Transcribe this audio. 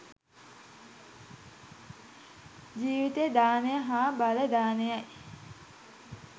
ජීවිත දානය හා බල දානයයි